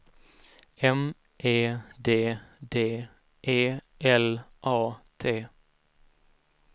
M E D D E L A T